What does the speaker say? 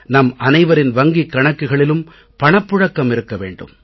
நம் அனைவரின் வங்கிக் கணக்குகளிலும் பணப் புழக்கம் இருக்க வேண்டும்